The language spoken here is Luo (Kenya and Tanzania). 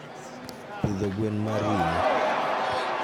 pidho gwen mar ringo